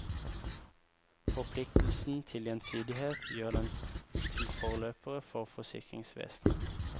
Forpliktelsen til gjensidighet gjør dem til forløpere for forsikringsvesenet.